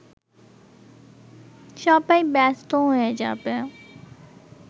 সবাই ব্যস্ত হয়ে যাবে